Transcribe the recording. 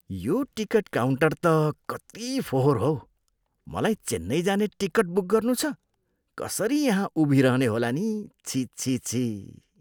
यो ticket counter त कति फोहोर हौ! मलाई चेन्नई जाने टिकट बुक गर्नू छ, कसरी यहाँ उभिरहने होला नि! छिः छिः छिः!